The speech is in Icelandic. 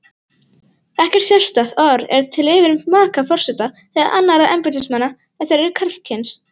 Ekkert sérstakt orð er til yfir maka forseta eða annarra embættismanna ef þeir eru karlkyns.